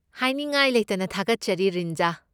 ꯍꯥꯏꯅꯤꯡꯉꯥꯏ ꯂꯩꯇꯅ ꯊꯥꯒꯠꯆꯔꯤ ꯔꯤꯟꯖꯥ꯫